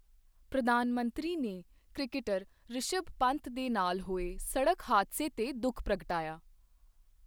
ਪ੍ਰਧਾਨ ਮੰਤਰੀ ਨੇ ਕ੍ਰਿਕਟਰ ਰਿਸ਼ਭ ਪੰਤ ਦੇ ਨਾਲ ਹੋਏ ਸੜਕ ਹਾਦਸੇ ਤੇ ਦੁਖ ਪ੍ਰਗਟਾਇਆ